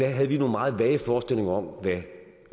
havde vi nogle meget vage forestillinger om hvad